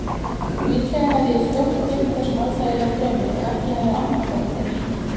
Líklega hefði ég fljótt gleymt þessum óþægilega draumi ef ekki hefði annað komið til.